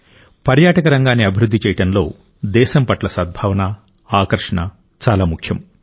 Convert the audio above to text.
పర్యాటక రంగాన్ని అభివృద్ధి చేయడంలో దేశం పట్ల సద్భావన ఆకర్షణ చాలా ముఖ్యం